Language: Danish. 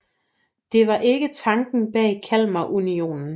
Det var ikke tanken bag Kalmarunionen